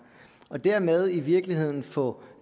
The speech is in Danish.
og dermed i virkeligheden få